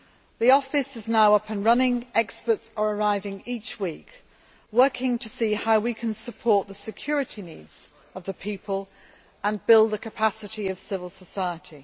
The office is now up and running and experts are arriving each week, working to see how we can support the security needs of the people and build the capacity of civil society.